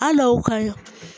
Al'o ka